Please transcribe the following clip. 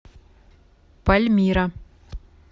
пальмира